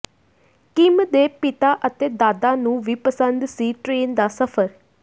Kim ਦੇ ਪਿਤਾ ਅਤੇ ਦਾਦਾ ਨੂੰ ਵੀ ਪਸੰਦ ਸੀ ਟ੍ਰੇਨ ਦਾ ਸਫ਼ਰ